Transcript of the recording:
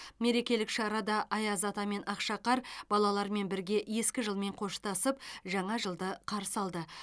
мерекелік шарада аяз ата мен ақшақар балалармен бірге ескі жылмен қоштасып жаңа жылды қарсы алды